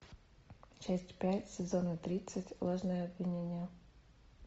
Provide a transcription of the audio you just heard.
часть пять сезона тридцать ложное обвинение